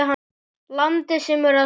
Landi sem er að sökkva.